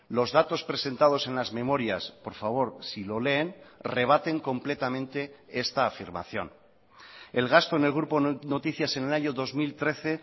los datos presentados en las memorias por favor si lo leen rebaten completamente esta afirmación el gasto en el grupo noticias en el año dos mil trece